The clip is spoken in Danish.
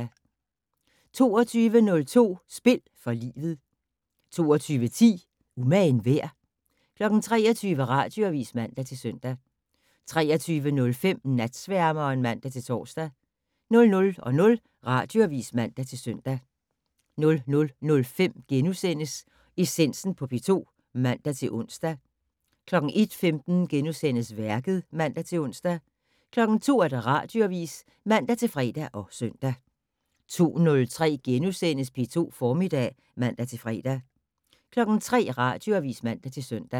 22:05: Spil for livet 22:10: Umagen værd? 23:00: Radioavis (man-søn) 23:05: Natsværmeren (man-tor) 00:00: Radioavis (man-søn) 00:05: Essensen på P2 *(man-ons) 01:15: Værket *(man-ons) 02:00: Radioavis (man-fre og søn) 02:03: P2 Formiddag *(man-fre) 03:00: Radioavis (man-søn)